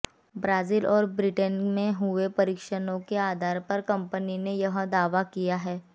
Brazil और Britain में हुए परीक्षणों के आधार पर कंपनी ने यह दावा किया है